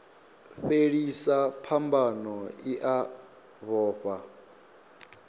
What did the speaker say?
fhelisa phambano i a vhofha